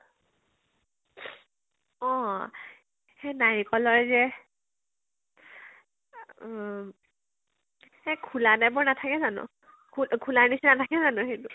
অ সেই নাৰিকলৰ যে আ উম এ খুলা type ৰ নাথাকে জানো ? খুলা খুলা নিচিনা ৰ নাথাকে জানো ?